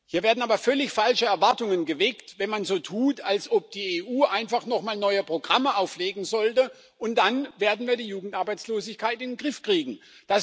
Hier werden aber völlig falsche Erwartungen geweckt, wenn man so tut, als ob die EU einfach noch mal neue Programme auflegen sollte und wir dann die Jugendarbeitslosigkeit in den Griff kriegen werden.